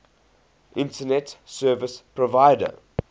internet service provider